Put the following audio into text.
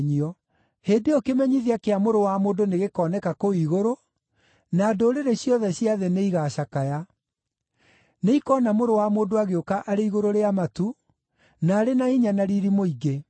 “Hĩndĩ ĩyo kĩmenyithia kĩa Mũrũ wa Mũndũ nĩgĩkooneka kũu igũrũ, na ndũrĩrĩ ciothe cia thĩ nĩigacakaya. Nĩikoona Mũrũ wa Mũndũ agĩũka arĩ igũrũ rĩa matu, na arĩ na hinya na riiri mũingĩ.